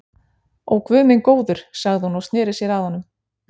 Ó, guð minn góður sagði hún og sneri sér að honum.